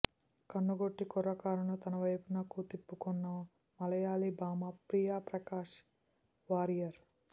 కన్ను కొట్టి కుర్రకారును తనవైపునకు తిప్పుకొన్న మలయాళీ భామ ప్రియా ప్రకాశ్ వారియర్